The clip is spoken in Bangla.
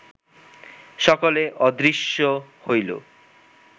সকলে অদৃশ্য হইল